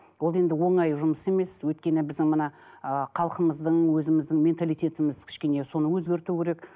ол енді оңай жұмыс емес өйткені біздің мына ыыы халқымыздың өзіміздің менталитетіміз кішкене соны өзгерту керек